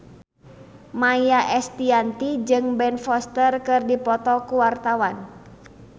Maia Estianty jeung Ben Foster keur dipoto ku wartawan